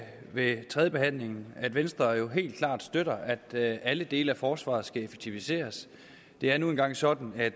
ved tredjebehandlingen at venstre jo helt klart støtter at alle dele af forsvaret skal effektiviseres det er nu engang sådan at